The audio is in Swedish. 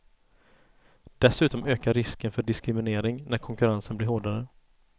Dessutom ökar risken för diskriminering, när konkurrensen blir hårdare.